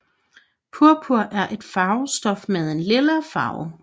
Purpur er et farvestof med en lilla farve